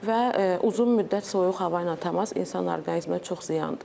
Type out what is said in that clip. Və uzun müddət soyuq hava ilə təmas insan orqanizminə çox ziyandır.